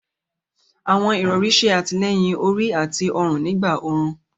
Àwọn irọ̀rì ṣè àtílẹ̀yìn orí àti ọ̀run nígbà orún.